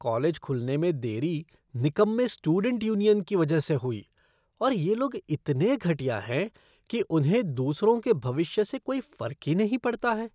College खुलने में देरी निकम्मे स्टूडेंट यूनियन की वजह से हुई और ये लोग इतने घटिया हैं कि उन्हें दूसरों के भविष्य से कोई फर्क ही नहीं पड़ता है।